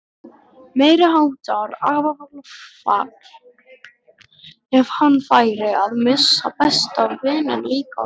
Meiriháttar áfall ef hann færi að missa besta vininn líka.